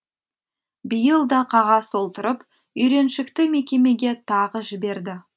биыл да қағаз толтырып үйреншікті мекемеге тағы жіберді